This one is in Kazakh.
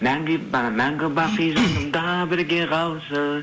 а мәңгі бақи жанымда бірге қалшы